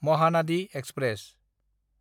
Mahanadi express